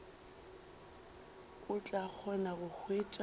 o tla kgona go hwetša